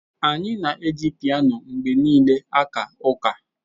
Anyị na-eji piano mgbe niile aka ụka.